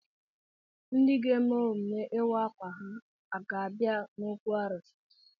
Ndị ga-eme emume ịwa akwa ha ga-abịa n'okwu arụsị?